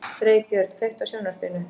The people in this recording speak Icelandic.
Freybjörn, kveiktu á sjónvarpinu.